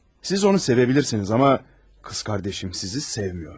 Siz onu sevə bilirsiniz, amma qız qardaşım sizi sevmir.